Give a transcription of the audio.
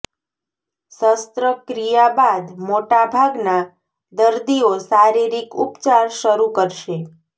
શસ્ત્રક્રિયા બાદ મોટા ભાગના દર્દીઓ શારીરિક ઉપચાર શરૂ કરશે